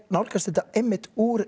nálgast þetta úr